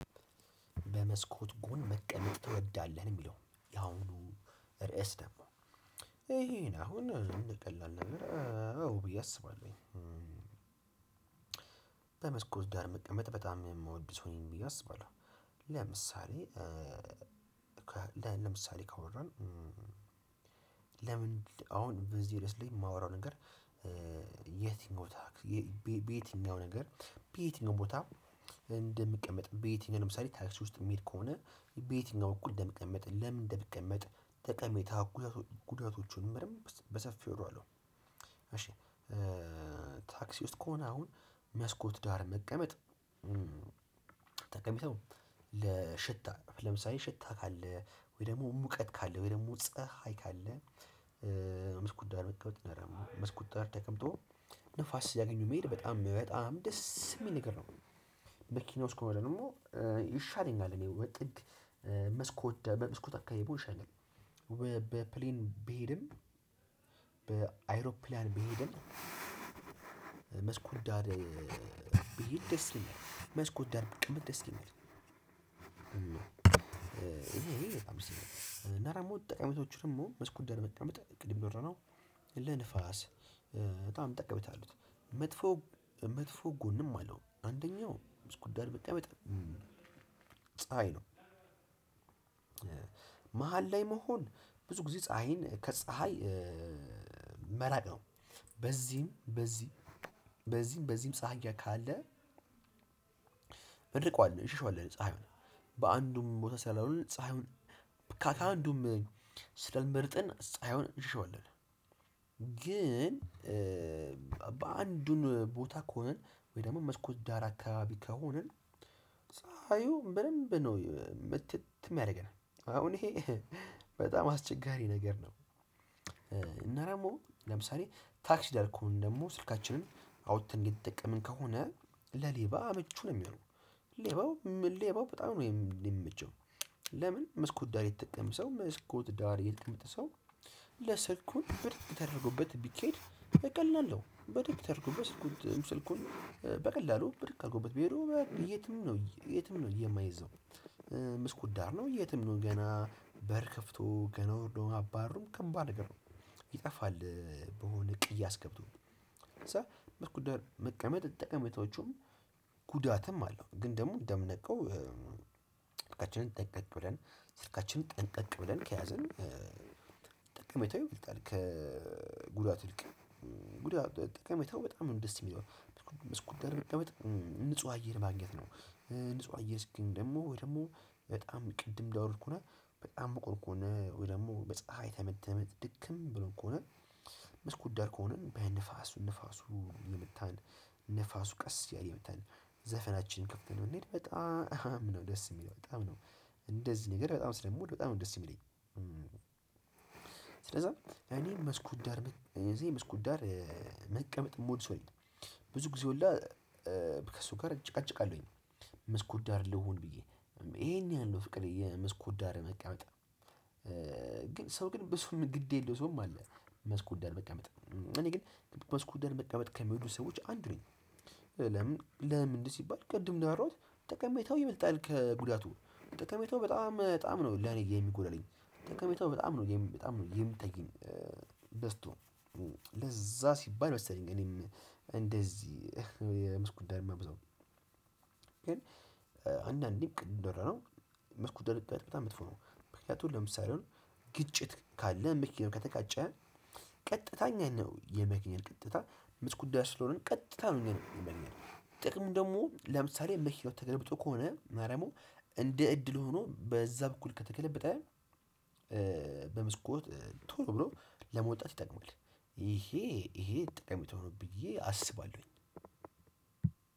በመስኮት ጎን መቀመጥ ትወዳለህ ነው የሚለው ያሁኑ ርዕስ ደግሞ ይሄን አሁን ቀላል ነገር አዎ ብዬ አስባለሁኝ። በመስኮት ዳር መቀመጥ በጣም የምወደው እኔን ብዬ አስባለሁ። ለምሳሌ ለምሳሌ ካወራን? ለምን አሁን በዚህ ርዕስ ላይ ማወራው ነገር። የት ቦታ? በየትኛው ነገር? በየትኛው ቦታ? እንደሚቀመጥ በየትኛው ለምሳሌ ታክሲ ውስጥ የሚሄድ ከሆነ በየትኛው በኩል እንደምቀመጥ ለምን እንደምቀመጥ ጠቀሜታው ጉዳያቶቹ በደንብ በሰፊው እለዋለው። እሺ። ታክሲ ውስጥ ከሆነ አሁን መስኮት ዳር መቀመጥ። ጠቀሜታው ለሽታ ለምሳሌ ሽታ ካለ ወይ ደሞ ሙቀት ካለ ወይ ደሞ ፀሀይ ካለ። መስኮት ዳር መቀመጥ ያ ደሞ መስኮት ዳር ተቀምጦ ንፋስ ሲያገኙ መሄድ በጣም በጣም ደስ እሚል ነገር ነው። መኪና ውስጥ ከሆነ ደሞ ይሻለኛል እኔ ወይ ጥግ መስኮት ዳር በመስኮት አካባቢ በሱ ይሻለኛል። በፕሌን ብሄድም በአይሮፕላን ቢሄድም። መስኮት ዳር ቢሄድ ደስ ይለኛል መስኮት ዳር ብቀመጥ ደስ ይለኛል። እኔ በጣም ስለሆነ እና ደሞ ጥቅመቶቹ ደሞ መስኮት ዳር መቀመጥ ቅርብ በር ነው። ለንፋስ በጣም ጠቄመታ አሉት። መጥፎ መጥፎ ጎንም አለው አንደኛው መስኮት ዳር መጠመጥ። ፀሀይ ነው። መሃል ላይ መሆን ብዙ ጊዜ ፀሀይን ከፀሀይ መራቅ ነው። በዚህም በዚህ በዚህም በዚህም ፀሀያ ካለ። እንርቀዋለን እንሽሽዋለን ፀሀይዋን በአንዱም ቦታ ስላልሆነ ፀሀዩን ከአንዱም ስለ ሚበልጠን ፀሀዩን እንሸሸዋለን። ግን በአንዱን ቦታ ከሆንን ወይ ደሞ መስኮት ዳር አካባቢ ከሆንን። ፀሀዩን በደንብ ነው ምትትም ያረገናል አሁን እሄ በጣም አስቸጋሪ ነገር ነው። እና ደሞ ለምሳሌ ታክስ ዳር ከሆንን ደሞ ስልካችንን አውጥተን እየተጠቀምን ከሆነ ለሌባ ምቹ ነው የሚሆነው። ሌባው ሌባው በጣም ነው የሚመቸው። ለምን መስኮት ዳር የተቀመጠ ሰው መስኮት ዳር የተመጠ ሰው። ለስልኩን በደንብ ተደርጎበት ቢኬድ በቀላሉ ነው በደንብ ተደርጎበት ስልኩን በቀላሉ በድግ ኣርጎበት ቢሄዱ የትም ነው የትም ነው የማይዘው። መስኮት ዳር ነው የትም ነው ገና በር ከፍቶ ገና ወርዶ አባሮም ከባድ ነገር ነው። ይጠፋል። በሆነ ቅያስ ገብቶ መስኮት ዳር መቀመጥ ጠቀሜታዎቹም ጉዳትም አለው። ግን ደሞ እንደምናቀው ስልካችንን ጠንቀቅ ብለን ስልካችንን ጠንቀቅ ብለን ከያዝን። ጠቀሜታው በቃ ልክ ከጉዳት ይልቅ ነው ጉዳት ጠቀሜታው በጣም ነው ደስ የሚለው። መስኮት ዳርም መቀመጥ ንጹህ አየር ማግኘት ነው። ንጹህ አየር ስንል ደሞ ወይ ደሞ በጣም ቅድም እንዳወራሁት ከሆነ በጣም ሙቆት ከሆነ ወይ ደሞ በፀሀይ ተመትተክ ድክም ብሎ ከሆነ። መስኮት ዳር ከሆነ በየንፋሱ ንፋሱ የመታን ንፋሱ ቀስ እያለ የመታን ዘፈናችንን ከፍተን ነው ብንሄድ በጣም ነው ደስ የሚለው በጣም ነው። እንደዚህ ነገር በጣም ስለምወድ በጣም ነው ደስ የሚለኝ። ስለዛ እኔ መስኮት ዳር መስኮት ዳር መቀመጥ እምወድ ሰው ነኝ። ብዙ ጊዜ ሁላ ከእሱ ጋር እጨቃጨቃለሁኝ። መስኮት ዳር ልሁን ብዬ እሄን ያህል ፍቅር የመስኮት ዳር መቀመጥ። ግን ሰው ግን በሱ ግድ የለው ሰውም አለ። መስኮት ዳር መቀመጥ እኔ ግን መስኮት ዳር መቀመጥ ከሚወዱ ሰዎች አንድ ነኝ። ለምን ለምን ሲባል ቅድም ነው ያወራሁት። ጠቀሜታው ይበልጣል ከጉዳቱ። ጠቀሜታው በጣም በጣም ነው ለኔ የሚጎድለኝ ጠቀሜታው በጣም ነው በጣም ነው የሚታየኝ። በዝቶ ለዛ ሲባል መሰለኝ እኔም እንደዚህ መስኮት ዳር ማበዛው። ግን አንዳንዴ ቅድም እንዳወራነው መስኮት ዳር መቀመጥ በጣም መጥፎ ነው። ምክንያቱም ለምሳሌ አሁን ግጭት ካለ መኪናው ከተጋጨ። ቀጥታኛ እኛን ነው የመኪና ቀጥታ ምትጉዳ ስለሆንን ቀጥታ ነው እኛ ላይ የሚያገኘን ጥቅሙን ደሞ ለምሳሌ መኪናው ተገልብጦ ከሆነ ማርያሙ እንደ እድል ሆኖ በዛ በኩል ከተገለበጠ። በመስኮት ቶሎ ብሎ ለመውጣት ይጠቅማል። እሄ እሄ ጠቀሜታ ሆኖ ብዬ አስባለሁኝ።